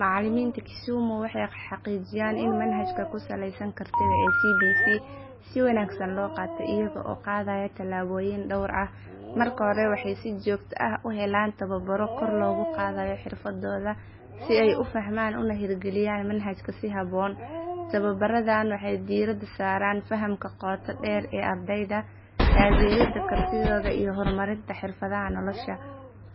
Macallimiinta Kisumu waxay xaqiijiyaan in manhajka ku saleysan kartida ee CBC si wanaagsan loo qaato iyaga oo qaadaya tallaabooyin dhowr ah. Marka hore, waxay si joogto ah u helaan tababaro kor loogu qaadayo xirfadooda si ay u fahmaan una hirgeliyaan manhajka si habboon. Tababaradan waxay diiradda saaraan fahamka qoto dheer ee ardayda, taageeridda kartidooda iyo horumarinta xirfadaha nolosha.